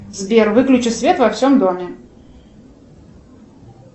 сбер выключи свет во всем доме